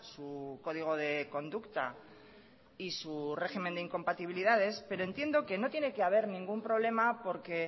su código de conducta y su régimen de incompatibilidades pero entiendo que no tiene que haber ningún problema porque